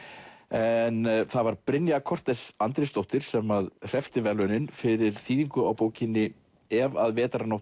en það var Brynja Andrésdóttir sem hreppti verðlaunin fyrir þýðingu á bókinni ef að